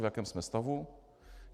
V jakém jsme stavu?